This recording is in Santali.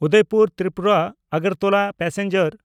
ᱩᱫᱚᱭᱯᱩᱨ ᱛᱨᱤᱯᱩᱨᱟ–ᱟᱜᱟᱨᱛᱚᱞᱟ ᱯᱮᱥᱮᱧᱡᱟᱨ